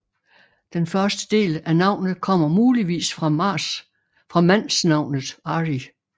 Den første del af navnet kommer muligvis fra mansnavnet Ari